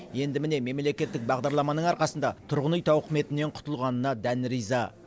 енді міне мемлекеттік бағдарламаның арқасында тұрғын үй тауқыметінен құтылғанына дән риза